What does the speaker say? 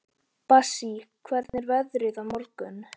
Bassí, hvernig er veðrið á morgun?